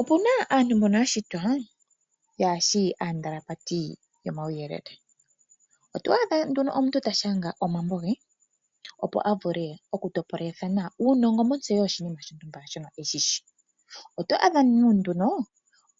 Opu na aantu mbono ya shitwa yaashi aandalapateli yomauyelele. Oto adha omuntu ta shanga omambo ge, opo ya topole uunongo montseyo yoshinima shontumba shono e shi shi. Oto adha nduno